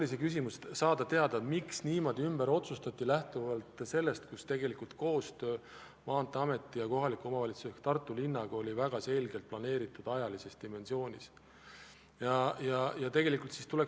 Selle küsimusega soovin teada saada, miks niimoodi ümber otsustati, kui koostöö Maanteeameti ja kohaliku omavalistuse ehk Tartu linnaga oli ajalises dimensioonis väga selgelt planeeritud.